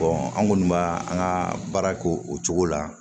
an kɔni b'a an ka baara kɛ o cogo la